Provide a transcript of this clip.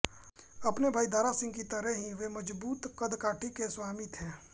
अपने भाई दारा सिंह की तरह ही वे मजबूत कदकाठी के स्वामी थे